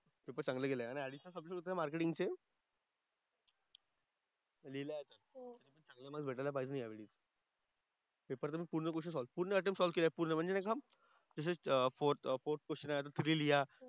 Paper चांगले गेले ना आणि ऍडिशनल सब्जेक्ट होते मार्केटिंगचे? लिहिला आम्ही. चांगले मार्क्स भेटायला पाहिजे यावेळी. पेपर तर मी पूर्ण क्वेश्चन सॉल्व्ह पूर्ण अटेम्प्ट सॉल्व्ह केले पूर्ण म्हणजे कसं जसे फोर फोर क्वेश्चन आहे आता थ्री लिहा.